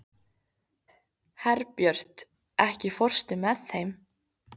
Herbjört, ekki fórstu með þeim?